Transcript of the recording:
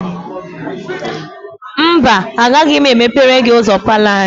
Mba, agaghị m emepere gị ụzọ palọ anyị.